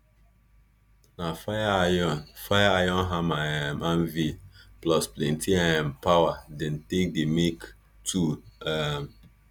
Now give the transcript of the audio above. na fire iron fire iron hammer um anvil plus plenti um power dem dey carry make tool um